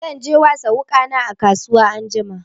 Zan je wasa wuƙana a kasuwa anjima.